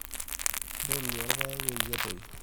ntolua ilpaek peyie etoyu